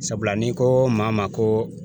Sabula ni ko maa ma ko